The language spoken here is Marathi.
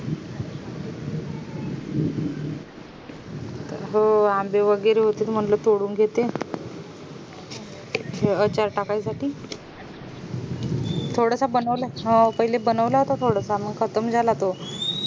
हो आंबे वैगेरे होते म्हणलं थोडून घेते पाका साठी थोडासा बनवलाय पहिले बनवला होता थोडासा मंग खतम झाला तो